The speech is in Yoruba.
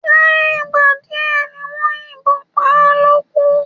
Lẹ́yìn ìgbà díè tí wón yín bon pá lókú